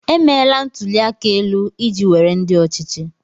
Emeela ntụli aka elu iji were ndị ọchịchị.